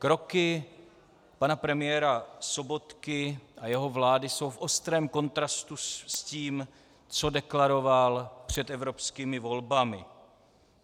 Kroky pana premiéra Sobotky a jeho vlády jsou v ostrém kontrastu s tím, co deklaroval před evropskými volbami.